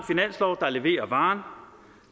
finanslov der leverer varen